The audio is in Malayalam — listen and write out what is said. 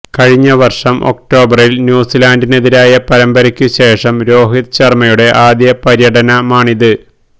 കഴിഞ്ഞ വര്ഷം ഒക്ടോബറില് ന്യൂസിലന്ഡിനെതിരായ പരമ്പരയ്ക്കുശേഷം രോഹിത് ശര്മയുടെ ആദ്യ പര്യടനമാണിത്